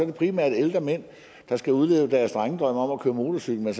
det primært ældre mænd der skal udleve deres drengedrøm om at køre motorcykel